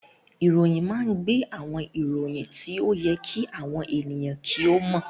Ìròyìn máa ń gbé àwọn ìròyìn tí ó yẹ kí àwọn ènìyàn kí ó mọ̀